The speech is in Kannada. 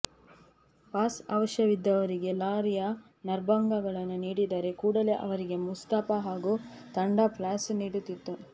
ಪಾಸ್ ಅವಶ್ಯವಿದ್ದವರಿಗೆ ಲಾರಿಯ ನಂಬರ್ಗಳನ್ನು ನೀಡಿದರೆ ಕೂಡಲೇ ಅವರಿಗೆ ಮುಸ್ತಫಾ ಹಾಗೂ ತಂಡ ಪಾಸ್ನ್ನು ನೀಡುತ್ತಿತ್ತು